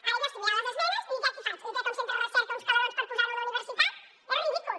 ara jo estic mirant les esmenes i dic ara què faig li trec a un centre de recerca uns calerons per posar los a una universitat és ridícul